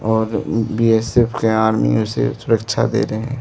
और बी_एस_एफ के आर्मी उसे सुरक्षा दे रहे हैं।